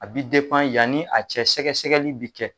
A bɛ yanni a cɛ sɛgɛ-sɛgɛli bɛ kɛ